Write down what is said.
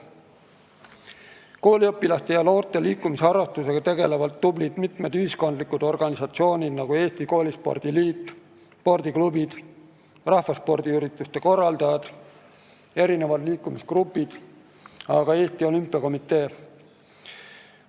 Kooliõpilaste ja noorte liikumisharrastusega tegelevad mitmed tublid ühiskondlikud organisatsioonid , spordiklubid, rahvaspordiürituste korraldajad, liikumisgrupid ja ka Eesti Olümpiakomitee.